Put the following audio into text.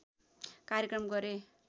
कार्यक्रम गरे